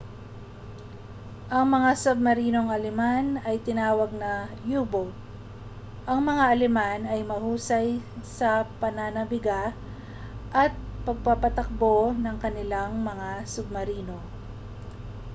ang mga submarinong aleman ay tinawag na mga u-boat ang mga aleman ay mahusay sa pagnanabiga at pagpapatakbo ng kanilang mga submarino